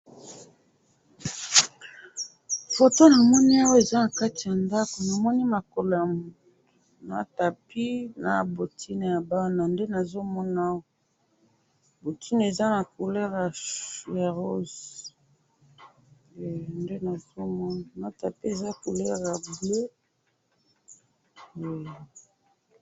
Foto namoni awa, eza nakati yandako, namoni makolo yamutu, na tapis, nabotine yabana, nde nazomona awa, botine eza couleur ya rose, eh! Nde nazomona, na tapis eza na couleur ya bleue, eh